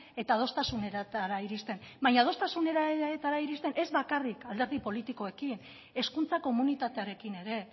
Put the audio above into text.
eta adostasunetara iristen baina adostasunetara iristen ez bakarrik alderdi politikoekin hezkuntza komunitatearekin ere